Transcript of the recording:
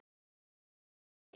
Guð, ég veit það ekki.